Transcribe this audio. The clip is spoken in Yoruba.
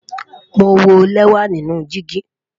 Mo wọ lẹwa nínú dígì